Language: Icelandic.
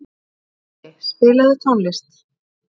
Gulli, spilaðu tónlist.